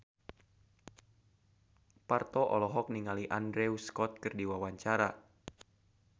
Parto olohok ningali Andrew Scott keur diwawancara